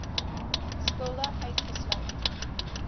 skulde uitgesluit